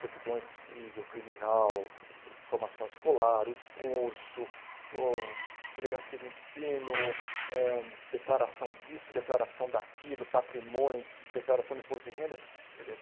Certidão civil, criminal, formação escolar, o curso, o delegacia de ensino, eh declaração disso, declaração daquilo, patrimônio, declaração de imposto de renda.